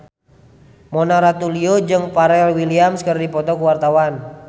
Mona Ratuliu jeung Pharrell Williams keur dipoto ku wartawan